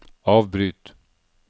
avbryt